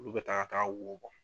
Olu bɛ ta ka taa wo bɔ.